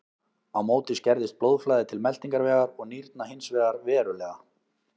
Á móti skerðist blóðflæði til meltingarvegar og nýrna hins vegar verulega.